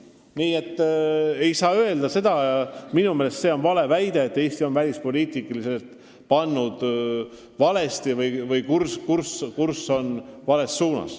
Nii et minu meelest see on alusetu väide, et Eesti on välispoliitiliselt hoidnud valet kurssi.